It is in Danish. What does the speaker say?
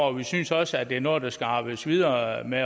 og vi synes også at det er noget der skal arbejdes videre med